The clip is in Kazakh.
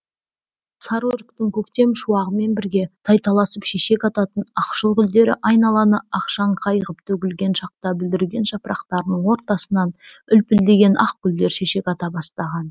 сары өріктің көктем шуағымен бірге тайталасып шешек ататын ақшыл гүлдері айналаны ақшаңқай ғып төгілген шақта бүлдірген жапырақтарының ортасынан үлпілдеген ақ гүлдер шешек ата бастаған